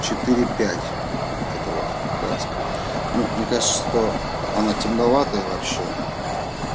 четыре пять вот эта вот краска ну мне кажется что она темноватая вообще